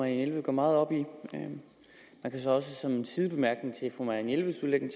jelved går meget op i man kan så også som en sidebemærkning til fru marianne jelveds udlægning